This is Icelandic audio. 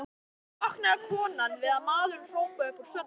Stundum vaknaði konan við að maðurinn hrópaði upp úr svefni